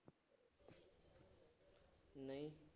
ਨਹੀਂ